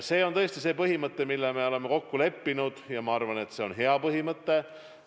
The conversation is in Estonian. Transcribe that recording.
See on tõesti see põhimõte, mille me oleme kokku leppinud, ja ma arvan, et see on hea põhimõte.